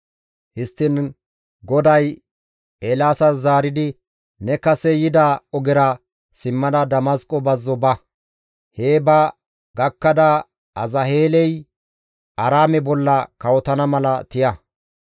Histtiin GODAY Eelaasas zaaridi, «Ne kase yida ogezara simmada Damasqo bazzo ba. Hee ba gakkada Azaheeley Aaraame bolla kawotana mala iza tiya.